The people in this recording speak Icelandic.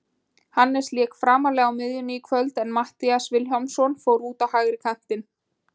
Hannes lék framarlega á miðjunni í kvöld en Matthías Vilhjálmsson fór út á hægri kantinn.